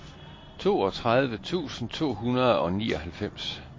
toogtredive tusind to hundrede og nioghalvfems